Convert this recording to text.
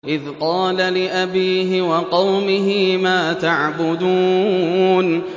إِذْ قَالَ لِأَبِيهِ وَقَوْمِهِ مَا تَعْبُدُونَ